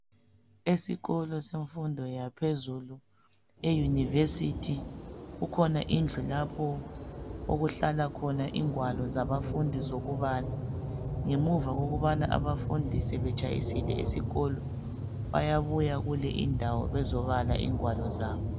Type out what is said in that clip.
Esikolo semfundo yaphezulu eYunivesi kukhona indlu lapho okuhlala khona ingwalo zabafundi zokubala .Ngemuva kokubana abafundi sebetshayisile esikolo bayabuya kuleyi indawo bezobala ingwalo zabo.